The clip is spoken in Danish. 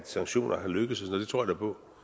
sanktioner er lykkedes det tror jeg på